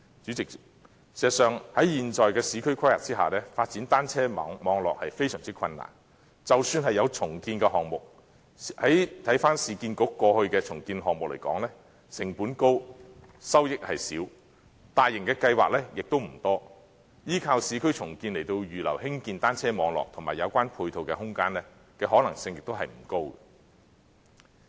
主席，事實上，在現時的市區規劃下，發展單車網絡非常困難，即使有重建項目，但以市區重建局過去的重建項目來說，有關項目成本高，收益少，大型的計劃亦不多，依靠市區重建來預留興建單車網絡及有關配套的空間，可能性亦不高。